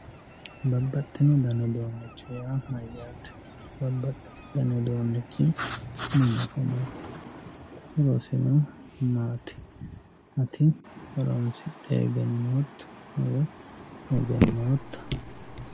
babbaxxino dani uduunnicho yaa mayyaate babbaxxino dani uduunnichi mama afamanno horosino maati ati horoonsidhe egennootto woy egennootta.